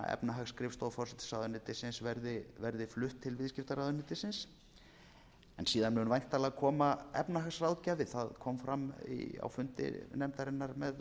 efnahagsskrifstofa forsætisráðuenytirsins verði flutt til viðskiptaráðuneytisins en síðan mun væntanlega koma efnahagsráðgjafi það kom fram á fundi nefndarinnar með